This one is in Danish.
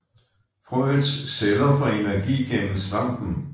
Frøets celler får energi gennem svampen